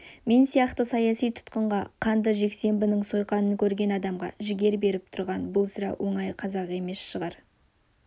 мен сияқты саяси тұтқынға қанды жексенбінің сойқанын көрген адамға жігер беріп тұрған бұл сірә оңай қазақ емес шығар